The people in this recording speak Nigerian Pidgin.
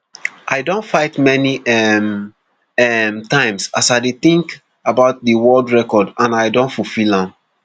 i don fight many um um times as i dey tink about di world record and i don fulfil am